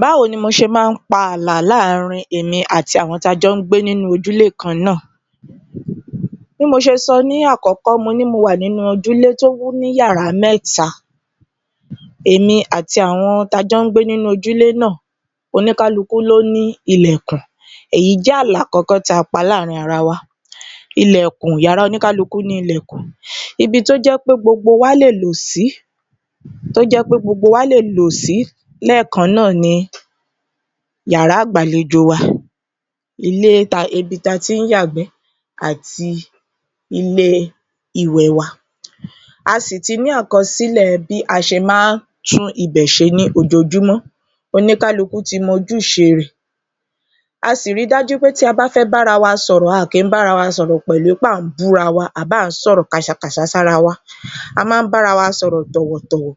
Báwo ni mo ṣe ma ń pa ààlà láàárin èmi àti àwọn tí a jọ́ ń gbé ní ojúlé kan náà bí mo ti ṣe sọ ní àkọ́kọ́ mo ní mo wà nínú ojúlé tó ní yàrá mẹ́ta èmi àti àwọn tá a jọ́ ń gbé ni ilé náà oníkálukú ló ní ilẹ̀kùn, èyí jẹ́ ààlà àkọ́kọ́ tí a pa ní àárín wa, yàrá oníkálukú ní ilẹ̀kùn, ibi tí ó jé pé gbogbo wa lè lò sí lẹ́ẹ̀kan náà ni yàrá ìgbàlejò wa, ibi tí a tí ń yàgbẹ́ àti ilé ìwẹ̀ wa, a sì ti ní àkọsìlẹ̀ bí a ṣe máa ń tún ibẹ̀ ṣe ní ojoojúmọ́ oníkálukú ti mọ ojúṣe rẹ̀, a sì ri dájú pé bí a bá fẹ́ bára wa sọ̀rọ̀ a kìí bára wa sọ̀rọ̀ pẹ̀lú pé à ń búra wa tàbí à ń sọ̀rọ̀ ṣákaṣàka síra wa, a máa ń bára wa sọ̀rọ̀ tọ̀wọ̀tọ̀wọ̀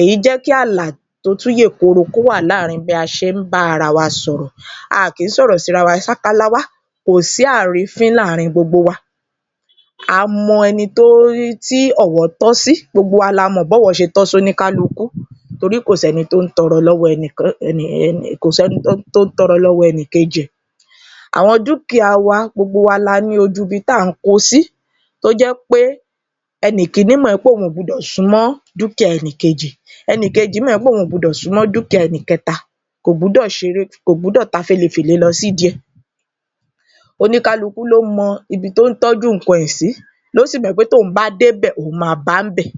èyí jẹ kí ààlà tó tún yèkoro kí ó wà láàárin bí a ṣé ń bá ara wa sọ̀rọ̀ a kìí sọ̀rọ̀ síra wa ṣákáláwá, kò sí àrínfín láàárin gbogbo wa, a mọ ẹni tí ọ̀wọ̀ tọ́ sí gbogbo wa la mọ̀ bí ọ̀wọ̀ ṣe tọ́ sí oníkálukú tórí kò sẹ́ni tó ń tọ̀rọ lọ́wọ́ ẹnìkejì, àwọn dúkìá wa, gbogbo wa la ní ojú ibi tí à ń ko sí tó jẹ́ pé ẹnì kìíní mọ̀ pé òun kò gbọ́dọ̀ súnmọ́ dúkìá ẹni kejì, ẹnì kejì mọ̀ pé òun kò gbọ́dọ̀ súnmọ́ dúkìá ẹni kẹta kò gbọ́dọ̀ ta félefèle lo sí ìdí i rẹ̀ oníkálukú ló mọ ibi tí ó ń tọ́jú nǹkan rẹ̀ sí tí ó sì mọ̀ pé tí òun bá dé bẹ̀ òun máa ba níbẹ̀,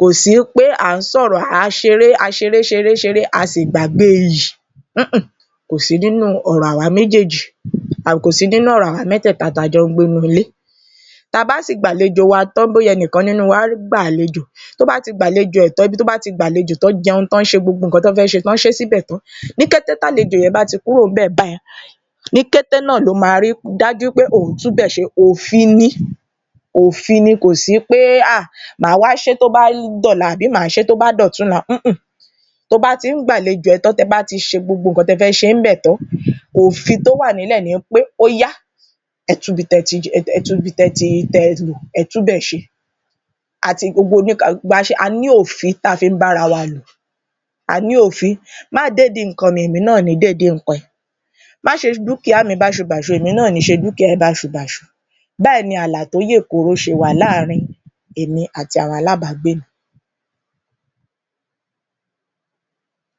kò sí pé à ń sọ̀rọ̀, a ṣeré ṣeré ṣeré a sì gbàgbé iyì húnhùn kò sí nínú ọ̀rọ̀ àwa mẹ́tẹ́ẹ̀ta tí a jọ́ ń gbénú ié, tí a bá sì gba àlejò wa tán bóyá ẹnìkan nínú wa gba àlejò, tó bá ti gba àlejò rẹ̀ tán, ibi tí ó bá ti gba àlejò tí wọ́n jẹun tí wọ́n ṣe gbogbo nǹkan tí wọ́n fẹ́ ṣe tí wọ́n ṣe é síbẹ̀ tán ní kété tí àlejò yẹn bá ti kúrò níbẹ̀ báyìí ní kété náà ni ó máa ri dájú wí pé òun tún ibẹ̀ ṣe òfin ni, kò sí pé màá wá ṣe é tó bá dọ̀la tàbí màá se é tó bá dọ̀túnla to bá ti ń gbàlejò rẹ tán tí ẹ tí ń ṣe gbogbo nǹkan tí ẹ bá ń ṣe níbẹ̀ tán òfin tí ó wà nílẹ̀ ni pé óyá ẹ tún ibi tí ẹ lò ẹ tún ibẹ̀ ṣe, a ní òfin tí a fí ń bá ara wa lò, má dé ìdí nǹkan mi èmi náà ò ní dédìí nǹkan ẹ,má ṣe dúkìá mi báṣubàṣu èmi náà ò ní ṣe dúkìá rẹ báṣubàṣu, báyìí ni ààlà tó yè koro ṣe wà láàárin èmi àti àwọn alábàágbé mi.